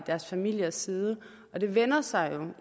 deres familiers side og det vender sig jo